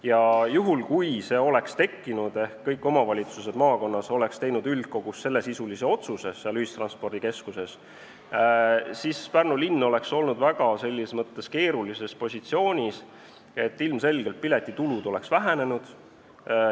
Ja juhul, kui see oleks tekkinud ehk kõik omavalitsused maakonnas oleks teinud üldkogus sellesisulise otsuse, seal ühistranspordikeskuses, siis Pärnu linn oleks olnud selles mõttes väga keerulises olukorras, et ilmselgelt oleks piletitulu vähenenud.